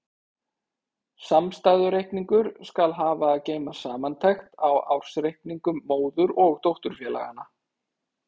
Samstæðureikningur skal hafa að geyma samantekt á ársreikningum móður- og dótturfélaganna.